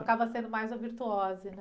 Acaba sendo mais uma virtuose, né?